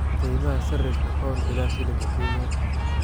qiimaha sarrifka pound ilaa shilinka Kenya